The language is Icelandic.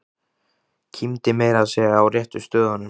Kímdi meira að segja á réttu stöðunum.